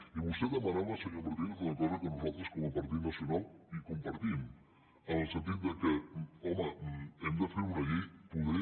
i vostè demanava senyor martínez una cosa que nosaltres com a partit nacional compartim en el sentit que home hem de fer una llei poder